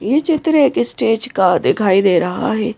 ये चित्र एक स्टेज का दिखाई दे रहा है ।